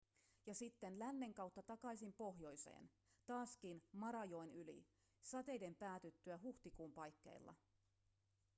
ja sitten lännen kautta takaisin pohjoiseen taaskin marajoen yli sateiden päätyttyä huhtikuun paikkeilla